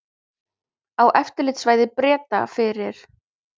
Á eftirlitssvæði Breta fyrir